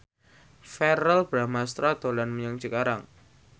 Verrell Bramastra dolan menyang Cikarang